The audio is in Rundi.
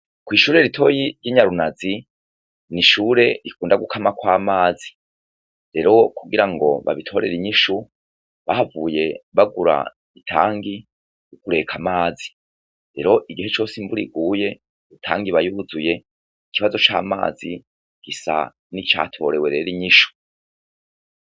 Kw’ishure ritoya ry’Inyarunazi, n’ishure rikunda gukamakw’amazi , rero kugirango babitorere inyishu, bahavuye bagura itangi yo kubika Amazi. Rero igihe cose iy’imvura iguye, itang’iba yuzuye , ikibazo c’amazi gisa nicatorewe inyishu.